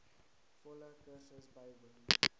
volle kursus bywoon